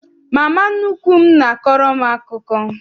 Mama nnukwu m n'akọrọ anyị akụkọ.